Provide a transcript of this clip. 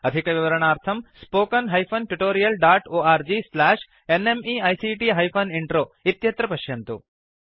अधिकविवरणार्थं spoken hyphen tutorial dot org slash NMEICT hyphen intro इत्यत्र पश्यन्तु